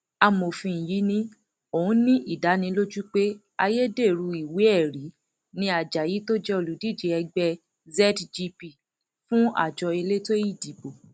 amòfin yìí ni òún ní ìdánilójú pé ayédèrú ìwéẹrí ni ajayi tó jẹ olùdíje ẹgbẹ zgp fún àjọ elétò ìdìbò